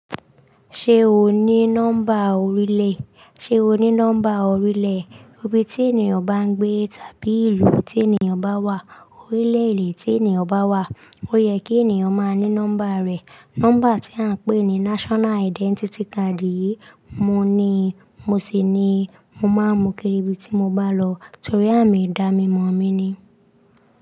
Ṣé o ní nọ́mbà orílẹ̀? Ṣé o ní nọ́mbà orílẹ̀? Ibi tí ènìyàn bá ń gbé tàbí ìlú tí ènìyàn bá wà, orílẹ̀-èdè tí ènìyàn bá wà, ó yẹ kí ènìyàn máa ní nọ́mbà rẹ̀. Nọ́mbà tí à ń pè ní National Identity Card yìí, mo níi, mo sì ni mo máa mú kiri ibi tí mo bá lọ torí àmi Ìdá mi mọ̀ mí ni.